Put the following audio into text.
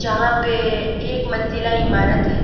यहां पे एक मंजिला इमारत है।